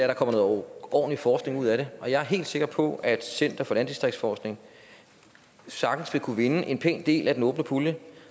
der kommer noget ordentlig forskning ud af det og jeg er helt sikker på at center for landdistriktsforskning sagtens vil kunne vinde en pæn del af den åbne pulje